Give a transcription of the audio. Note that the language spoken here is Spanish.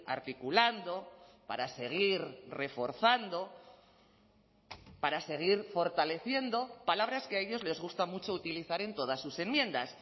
articulando para seguir reforzando para seguir fortaleciendo palabras que a ellos les gusta mucho utilizar en todas sus enmiendas